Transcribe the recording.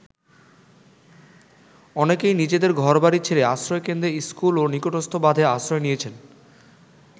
অনেকেই নিজেদের ঘরবাড়ি ছেড়ে আশ্রয়কেন্দ্র, স্কুল ও নিকটস্থ বাঁধে আশ্রয় নিয়েছেন।